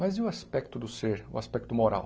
Mas e o aspecto do ser, o aspecto moral?